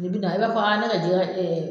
Nin bi na i b'a fɔ ne ka jɛkɛ bɛ